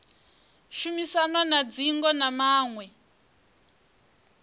shumisanwa na dzingo na maṅwe